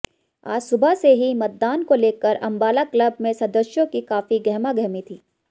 आज सुबह से ही मतदान को लेकर अम्बाला क्लब में सदस्यों की काफी गहमागहमी थी